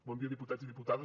bon dia diputats i diputades